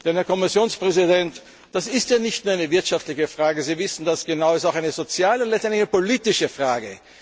tun. Denn, Herr Kommissionspräsident, das ist ja nicht nur eine wirtschaftliche Frage, Sie wissen das genau, das ist auch eine soziale und letztendlich eine politische